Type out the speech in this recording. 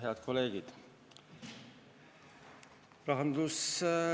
Head kolleegid!